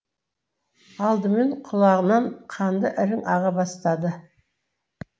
алдымен құлағынан қанды ірің аға бастады